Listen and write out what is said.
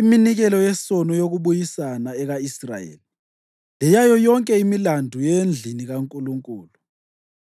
iminikelo yesono yokubuyisana eka-Israyeli; leyayo yonke imilandu yendlini kaNkulunkulu.